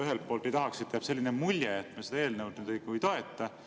Ühelt poolt ei tahaks, et jääks selline mulje, nagu me seda eelnõu ei toetaks.